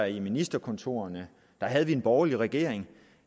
i ministerkontorerne havde vi en borgerlig regering